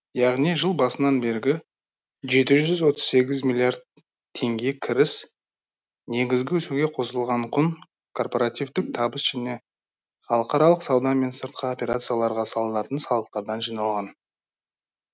яғни жыл басынан бергі жеті жүз отыз сегіз миллиард теңге кіріс негізгі өсуге қосылған құн корпоративтік табыс және халықаралық сауда мен сыртқы операцияларға салынатын салықтардан жиналған